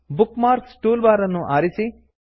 book marks toolbar ಅನ್ನು ಸೇರಿಸಿ